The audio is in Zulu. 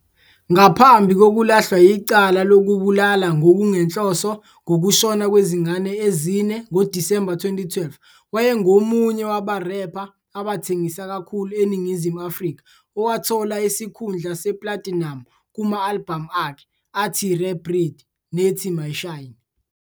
Ngaphambi kokulahlwa yicala lokubulala ngokungenhloso ngokushona kwezingane ezine ngoDisemba 2012, wayengomunye wabarepha abathengisa kakhulu eNingizimu Afrika owathola isikhundla seplatinamu kuma-albhamu akhe athi "Rare Breed" nethi "My Shine".